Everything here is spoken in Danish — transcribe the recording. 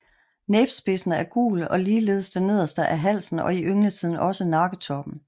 Næbspidsen er gul og ligeledes det nederste af halsen og i yngletiden også nakketoppen